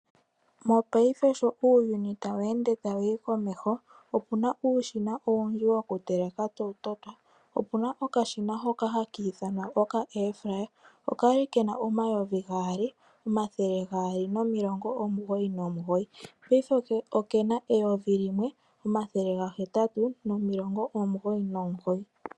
Mopaife sho uuyuni tawu ende tawu yi komeho, opuna uushina owundji wokuteleka tawu totwa. Opuna okashina hoka haka ithanwa oka Air fryer, okali kena omayovi gaali, omathele gaali nomilongo omugoyi nomugoyi, paife okena eyovi limwe, omathele gahetatu nomilongo omugoyi nomugoyi.